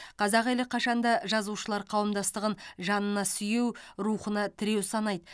қазақ елі қашанда жазушылар қауымдастығын жанына сүйеу рухына тіреу санайды